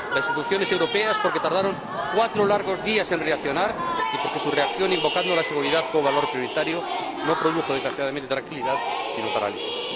Las instituciones europeas, porque tardaron cuatro largos días en reaccionar y porque su reacción, invocando la seguridad como valor prioritario, no produjo, desgraciadamente, tranquilidad, sino parálisis.